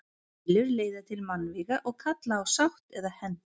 Deilur leiða til mannvíga og kalla á sátt eða hefnd.